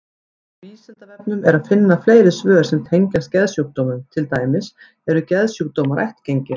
Á Vísindavefnum er að finna fleiri svör sem tengjast geðsjúkdómum, til dæmis: Eru geðsjúkdómar ættgengir?